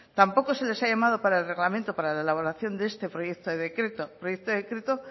tampoco se les ha llamado para el reglamento para la elaboración de este proyecto de decreto proyecto de decreto